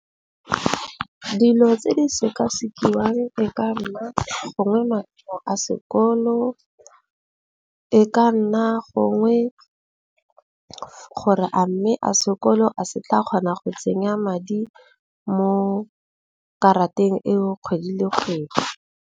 Dilo tse di sekasekiwa e ka nna gongwe a sekolo. E ka nna gongwe gore a mme a sekolo a se tla kgona go tsenya madi mo, karateng eo kgwedi le kgwedi.